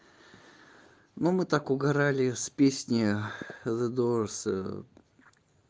ну мы так угорали с песни з дорс